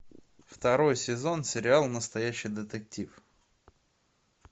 второй сезон сериал настоящий детектив